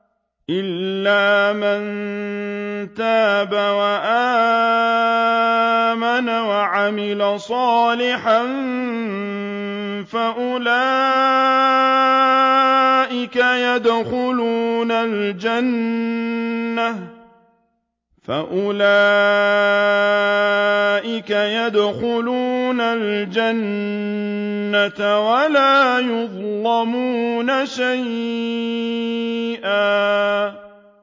إِلَّا مَن تَابَ وَآمَنَ وَعَمِلَ صَالِحًا فَأُولَٰئِكَ يَدْخُلُونَ الْجَنَّةَ وَلَا يُظْلَمُونَ شَيْئًا